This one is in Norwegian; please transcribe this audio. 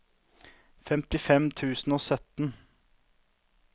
femtifem tusen og sytten